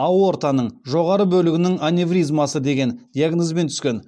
аортаның жоғары бөлігінің аневризмасы деген диагнозбен түскен